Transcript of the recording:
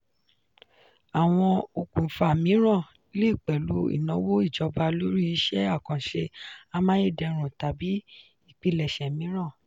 àwọn okùnfà mìíràn le pẹ̀lú ìnáwó ìjọba lórí iṣẹ́ àkànṣe amáyédẹrùn tàbí ìpilẹ̀ṣẹ̀ mìíràn.